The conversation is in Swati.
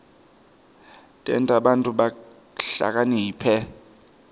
tenta bantfu bahlakaniphe